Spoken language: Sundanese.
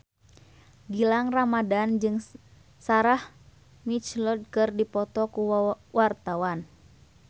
Gilang Ramadan jeung Sarah McLeod keur dipoto ku wartawan